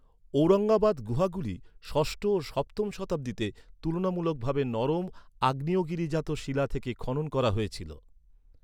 ঔরঙ্গাবাদ গুহাগুলি ষষ্ঠ ও সপ্তম শতাব্দীতে তুলনামূলক ভাবে নরম অগ্নিয়গিরিজাত শিলা থেকে খনন করা হয়েছিল।